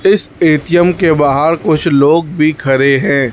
इस ए_टी_एम के बाहर कुछ लोग भी खड़े है।